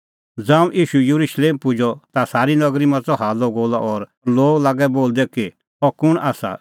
ज़ांऊं ईशू येरुशलेम पुजअ ता सारी नगरी मच़अ हाल्लअगोल्लअ और लोग लागै बोलदै कि अह कुंण आसा